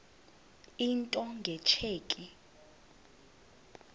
into nge tsheki